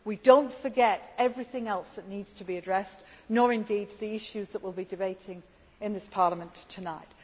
We do not forget everything else that needs to be addressed, nor indeed the issues that we will be debating in this Parliament tonight.